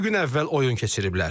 İki gün əvvəl oyun keçiriblər.